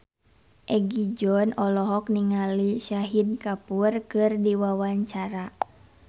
Egi John olohok ningali Shahid Kapoor keur diwawancara